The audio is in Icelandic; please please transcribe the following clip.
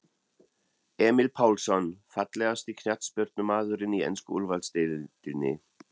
Emil Pálsson Fallegasti knattspyrnumaðurinn í ensku úrvalsdeildinni?